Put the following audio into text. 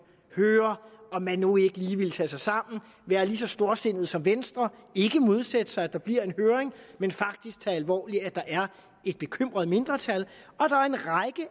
og høre om man nu ikke lige vil tage sig sammen være lige så storsindede som venstre ikke modsætte sig at der bliver en høring men faktisk tage det alvorligt at der er et bekymret mindretal og